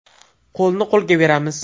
Qo‘lni qo‘lga beramiz!